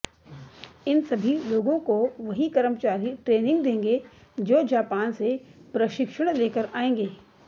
इन सभी लोगों को वही कर्मचारी ट्रेनिंग देंगे जो जापान से प्रशिक्षण लेकर आएंगे